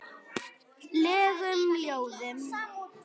legum ljóðum.